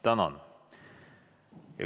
Tänan!